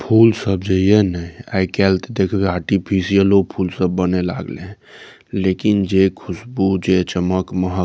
फूल सब जे ये ने आय काएल ते देखबे आर्टिफिशियलो फूल सब बने लाग ले हेय लेकिन जे खुशबू जे चमक महक --